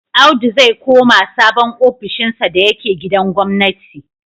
Audu zai koma sabon ofishinsa da yake gidan gwamnati.